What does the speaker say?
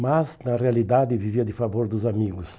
Mas, na realidade, vivia de favor dos amigos.